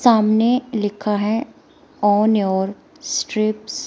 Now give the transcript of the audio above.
सामने लिखा है ऑन योअर स्ट्रिप्स ।